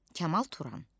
Kamal Turan.